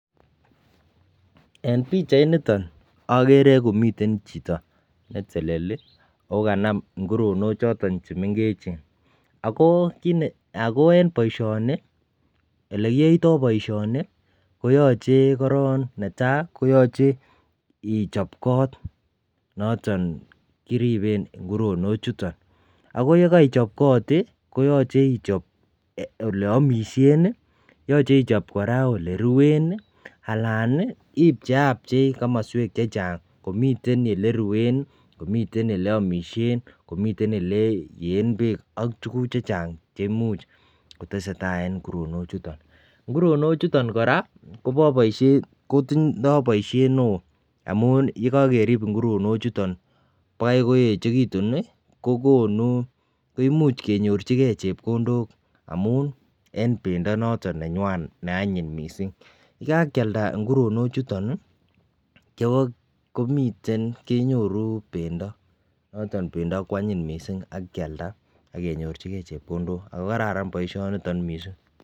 En bichait niton agere komiten chitoakokanam nguronok choton chemengechen akoben baishet niton ak ilekiyoitoi baishoni koyache netai ichop kot noton koriben nguronok chuton akoyekaichop kot koyache ichop oleyamishen ,yache ichop koraa oleruen alan ipche kamaswek chechang komiten oleruen komiten oleyamishen komiten oleyeen bek ak tuguk chechang cheimuch kotestai en nguronok chuton ,nguronok chuton koraa Kotinye baishet neon amun yekakerib nguronok chuton kokaichekitun koimuch kenyorchigei chepkondok amun en bendonoto neakwai ako anyin mising ako yekakialda nguronok chuton kenyuru bendo ako kwanyin mising akenyojigei chepkondok ako kararan baishoniton mising.